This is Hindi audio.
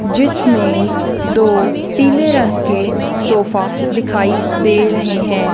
जिसमें दो पीले रंग के सोफा दिखाई दे रहे हैं।